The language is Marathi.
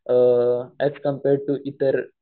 ऍज कम्पेअर टू इतर